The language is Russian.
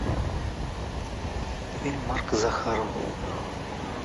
фильм марка захарова